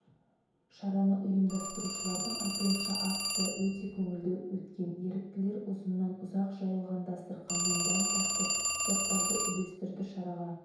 шараны ұйымдастырушылардың айтуынша акция өте көңілді өткен еріктілер ұзыннан-ұзақ жайылған дастарқаннан дәм татырып заттарды үлестірді шараға